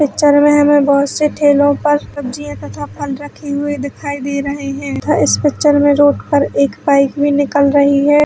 Picture में हमे बहोत से ठेलो पर सब्जियाँ तथा फल रखे हुए दिखाई दे रहे है तथा इस पिक्चर में रोड पर एक बाइक भी निकल रही है।